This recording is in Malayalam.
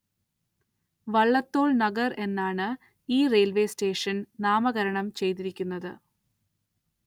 വള്ളത്തോള്‍ നഗര്‍ എന്നാണ് ഈ റെയില്‍‌വേ സ്റ്റേഷന്‍ നാമകരണം ചെയ്തിരിക്കുന്നത്